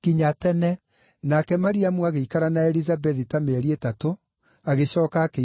Nake Mariamu agĩikara na Elizabethi ta mĩeri ĩtatũ, agĩcooka akĩinũka kwao.